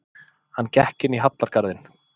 Hann gekk inn í hallargarðinn.